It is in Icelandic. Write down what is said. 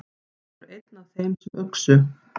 Hann er einn af þeim sem uxu.